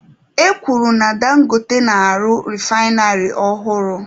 E kwuru na Dangote na-arụ refainarị ọhụrụ.